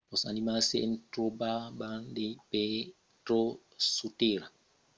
los animals se tròban de pertot sus tèrra. cavan dins lo sòl nadan dins los oceans e vòlan dins lo cèl